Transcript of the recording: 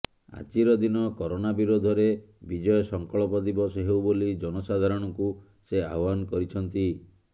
ଆଜିର ଦିନ କରୋନା ବିରୋଧରେ ବିଜୟ ସଂକଳ୍ପ ଦିବସ ହେଉ ବୋଲି ଜନ ସାଧାରଣଙ୍କୁ ସେ ଆହ୍ୱାନ କରିଛନ୍ତି